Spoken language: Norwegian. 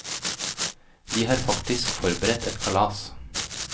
De har faktisk forberedt et kalas.